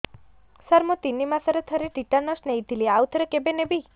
ସାର ମୁଁ ତିନି ମାସରେ ଥରେ ଟିଟାନସ ନେଇଥିଲି ଆଉ ଥରେ କେବେ ନେବି